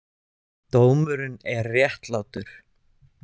Dómurinn er réttlátur.